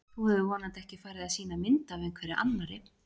Þú hefur vonandi ekki farið að sýna mynd af einhverri annarri!